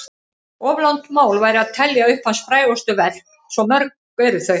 Of langt mál væri að telja upp hans frægustu verk, svo mörg eru þau.